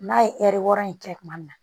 N'a ye ɛri wɔɔrɔ in kɛ kuma min na